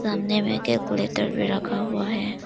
आमने में कैलकुलेटर भी रखा हुआ है।